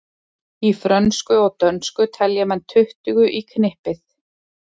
Í frönsku og dönsku telja menn tuttugu í knippið.